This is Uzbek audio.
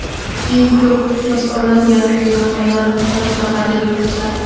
Eng ko‘p iqtibos olinadigan ilmiy maqolalar haqida qiziqarli faktlar.